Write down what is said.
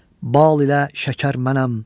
Bal ilə şəkər mənəm.